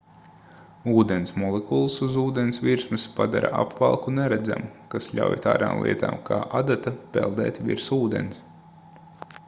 ūdens molekulas uz ūdens virsmas padara apvalku neredzamu kas ļauj tādām lietām kā adata peldēt virs ūdens